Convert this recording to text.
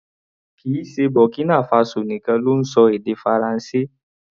Kìí ṣe Burkina Faso nìkan ló ń ṣọ èdè Faransé.